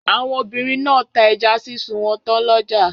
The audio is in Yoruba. Àwọn obìnrin náà ta ẹja sísun wọn tán lọ́jà.